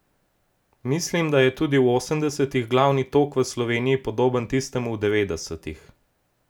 Mislim, da je tudi v osemdesetih glavni tok v Sloveniji podoben tistemu v devetdesetih.